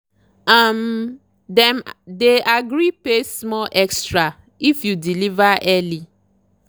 um dem dey agree pay small extra if you deliver early.